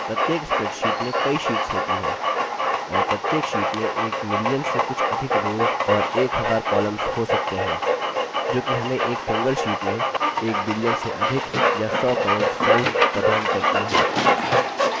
प्रत्येक spreadsheet में कई शीट्स होती हैं और प्रत्येक sheets में एक million से कुछ अधिक rows और एक हजार columns हो सकते हैं जो कि हमें एक single sheets में एक billion से अधिक या सौ crore cells प्रदान करती है